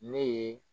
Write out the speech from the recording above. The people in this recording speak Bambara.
Ne ye